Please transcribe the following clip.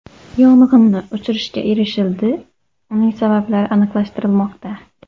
Yong‘inni o‘chirishga erishildi, uning sabablari aniqlashtirilmoqda.